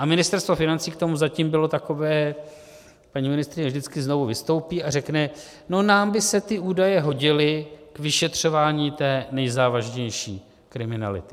A Ministerstvo financí k tomu zatím bylo takové - paní ministryně vždycky znovu vystoupí a řekne: No nám by se ty údaje hodily k vyšetřování té nejzávažnější kriminality.